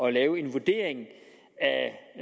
at lave en vurdering